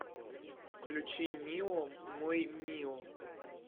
включи мио мой мио